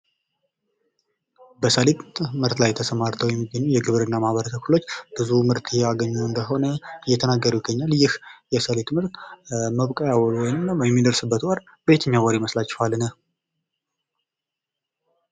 በሰሊጥ ምርት ላይ ተሰማርተው የሚገኙ የግብርና ማህበረሰብ ክፍሎች ብዙ ምርት እያገኙ እንደሆነ እየተናገሩ ይገኛሉ። ይህ የሰሊጥ ምርት መብቀያው ወይም የሚደርስበት ወር በየትኛው ወር ይመስላችኋል?